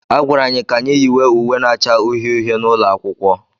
A gwara anyị ka anyị yiwe uwe na-acha uhie uhie n'ụlọ akwụkwọ.